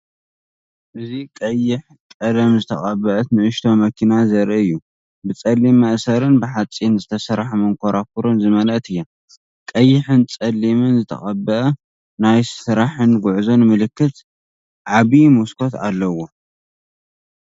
እዚ ቀይሕ ቀለም ዝተቐብአት ንእሽቶ መኪና ዘርኢ እዩ፡ ብጸሊም መእሰሪን ብሓጺን ዝተሰርሐ መንኮርኮርን ዝተማልአት እያ። ቀይሕን ጸሊምን ዝተቐብአ ናይ ስራሕን ጉዕዞን ምልክት፡ ዓቢ መስኮት ኣለዎ።